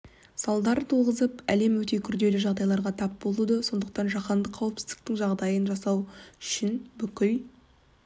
салдар туғызып әлем өте күрделі жағдайларға тап болуда сондықтан жаһандық қауіпсіздіктің жағдайын жасау үшін бүкіл